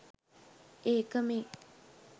ඒක මේ.